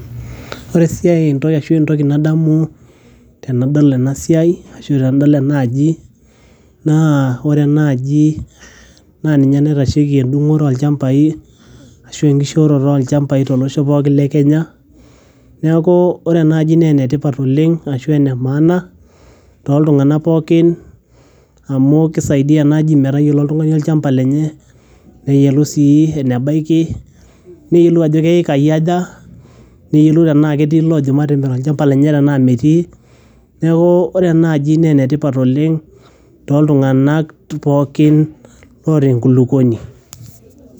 Ore esiai arashu entoki nadamu tenadol ena sia, ore enadol ena aji naa ore ena aji naa ninye naitashoki endungoto oo ilchambai arashu enkiishiroti oo ilchambai tolosho pookin le Kenya neeku ore ena aji naa enetipat oleng' arashu enemaana too tunganak pookin amu kisaidia ena aji metayiolo oltungani olchamba lenye neyiolou sii enebaiki, neyiolou ajo kaekai aja, neyiolou enaa ketii illoojo matimirr olchamba lenye enaa metii. Neeku ore ena aji naa enetipat oleng' too tunganak pookin oota engulukoni.